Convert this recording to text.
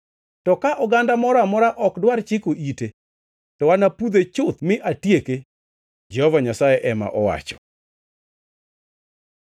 To ka oganda moro amora ok dwar chiko ite, to anapudhe chuth mi atieke,” Jehova Nyasaye ema owacho.